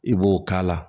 I b'o k'a la